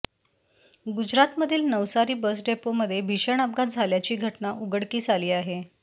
गुजरात मधील नवसारी बस डेपोमध्ये भीषण अपघात झाल्याची घटना उघडकीस आली आहे